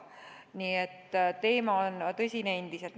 Nii et teema on tõsine endiselt.